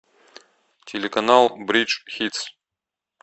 телеканал бридж хитс